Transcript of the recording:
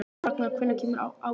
Ragnar, hvenær kemur ásinn?